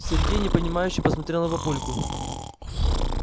сергей непонимающе посмотрел на папульку